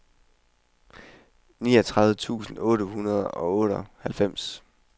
fireogtres tusind otte hundrede og otteoghalvfems